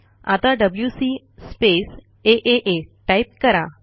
आता WC space आ type करा